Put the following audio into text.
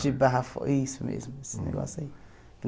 De Barra Fora, isso mesmo, esse negócio aí.